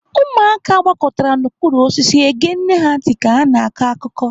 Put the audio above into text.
Ụmụaka gbakọtara n'okpuru osisi ege nne ha ntị ka ha na-akọ akụkọ.